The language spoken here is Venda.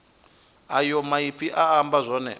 ayo maipfi a amba zwone